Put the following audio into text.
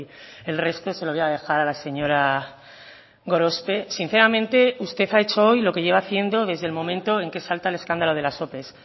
el resto se lo voy a dejar a la señora gorospe sinceramente usted ha hecho hoy lo que lleva haciendo desde el momento en que salta el escándalo de las ope